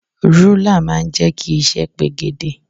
Rúlà máa ń jẹ́ kí iṣẹ́ pegedé.